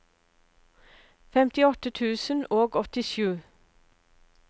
femtiåtte tusen og åttisju